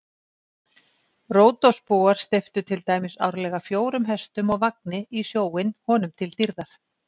Ródosbúar steyptu til dæmis árlega fjórum hestum og vagni í sjóinn honum til dýrðar.